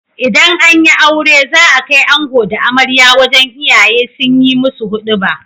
Idan anyi aure za a kai ango da amarya wajan iyaye sunyi musu huduba